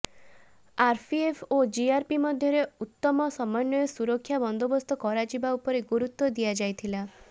RPF ଓ GRP ମଧ୍ୟରେ ଉତ୍ତମ ସମନ୍ବୟ ସୁରକ୍ଷା ବନ୍ଦୋବସ୍ତ କରାଯିବା ଉପରେ ଗୁରୁତ୍ବ ଦିଆଯାଇଥିଲା